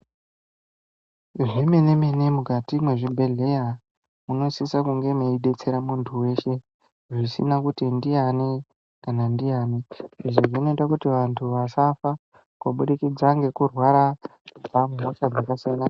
Zvemene-mene mukati mwezvibhedhleya munosise kunge mweidetsera munthu weshe, zvisina kuti ndiyani kana ndiyani. Izvi zvinoite kuti vanthu vasafa kubudikidza ngekurwara kubva muhosha dzakasiyana.